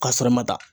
Ka sɔrɔ ma ta